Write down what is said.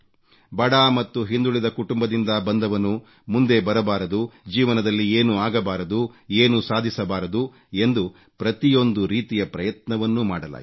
ಬಡ ಮತ್ತು ಹಿಂದುಳಿದ ಕುಟುಂಬದಿಂದ ಬಂದವನು ಮುಂದೆ ಬರಬಾರದು ಜೀವನದಲ್ಲಿ ಏನೂ ಆಗಬಾರದು ಏನೂ ಸಾಧಿಸಬಾರದು ಎಂದು ಪ್ರತಿಯೊಂದು ರೀತಿಯ ಪ್ರಯತ್ನವನ್ನೂ ಮಾಡಲಾಯಿತು